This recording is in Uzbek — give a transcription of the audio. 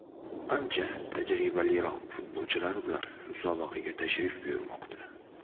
ancha tajribaliroq futbolchilar bilan musobaqaga tashrif buyurmoqda.